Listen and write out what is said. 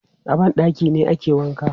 A ban ɗaki ne ake wanka.